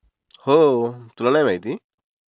हो तुला नाही माहिती!